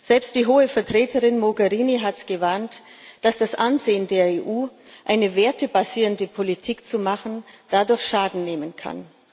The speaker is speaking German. Selbst die Hohe Vertreterin Mogherini hat gewarnt, dass das Ansehen der EU, eine wertebasierende Politik zu verfolgen, dadurch Schaden nehmen kann.